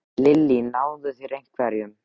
Lillý: Náðu þeir einhverjum?